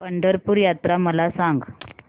पंढरपूर यात्रा मला सांग